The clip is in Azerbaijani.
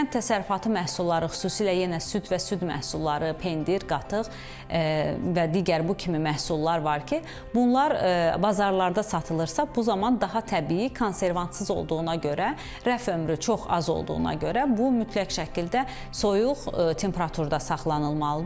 Kənd təsərrüfatı məhsulları xüsusilə yenə süd və süd məhsulları, pendir, qatıq və digər bu kimi məhsullar var ki, bunlar bazarlarda satılırsa, bu zaman daha təbii, konservantsız olduğuna görə rəf ömrü çox az olduğuna görə bu mütləq şəkildə soyuq temperaturda saxlanılmalıdır.